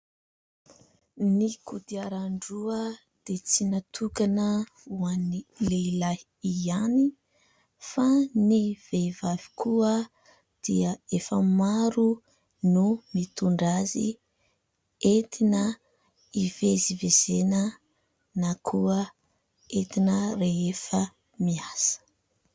Ny kodiaran-droa dia tsy natokana ho an'ny lehilahy ihany, fa ny vehivavy koa dia efa maro no mitondra azy, entina hivezivezena na koa entina rehefa miasa.